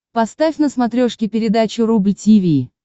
поставь на смотрешке передачу рубль ти ви